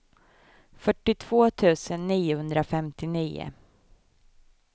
fyrtiotvå tusen niohundrafemtionio